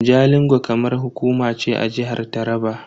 Jalingo karamar hukuma ce a jihar Taraba.